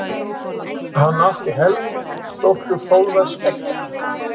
Hann átti Helgu dóttur Þórðar skeggja.